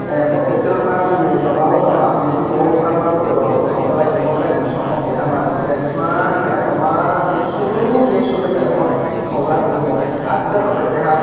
ahh bo petrol pump ni tola o nw ang nugui tongo bangma borok rok tok dalai tongo gari rok keha maruti van smaaa ke nythok ma chuu ke su pai te tog dai tongo bw ah jaa by keha.